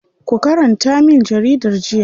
Ku karanta min jaridar jiya.